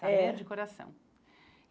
É Saber de coração.